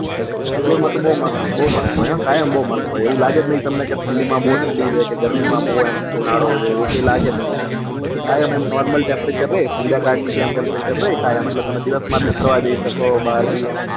બેંગ્લોર માં તો બહુ મસ્ત હોય બહુ મસ્ત હોય હા કાયમ બહુ મસ્ત હોય એવું લાગે નહી તમને કે ઠંડી માં બહુ ઠંડી જ હોય કે ગરમી માં બહુ ઉનાળો જ હોય એવું કઈ લાગે જ નહી કાયમ નોર્મલ temperature સંધ્યાકાળ ની જેમ temperature કાયમ એટલે તમે દિવસ માં ભી ફરવા શકો ભાહર ભી એમ